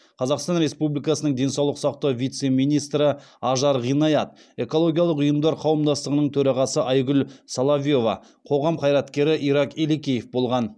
қазақстан республикасының денсаулық сақтау вице министрі ажар ғиният экологиялық ұйымдар қауымдастығының төрағасы айгүл соловьева қоғам қайраткері ирак елекеев болған